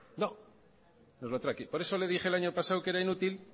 no nos lo trae aquí por eso le dije el año pasado que era inútil